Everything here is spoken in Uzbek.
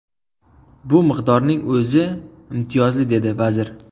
Bu miqdorning o‘zi imtiyozli”, dedi vazir.